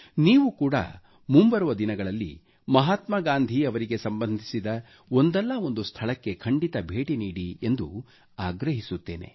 ನೀವು ಕೂಡಾ ಮುಂಬರುವ ದಿನಗಳಲ್ಲಿ ಮಹಾತ್ಮಾ ಗಾಂಧೀ ಅವರಿಗೆ ಸಂಬಂಧಿಸಿದ ಒಂದಲ್ಲಾ ಒಂದು ಸ್ಥಳಕ್ಕೆ ಖಂಡಿತ ಭೇಟಿ ನೀಡಿ ಎಂದು ಆಗ್ರಹಿಸುತ್ತೇನೆ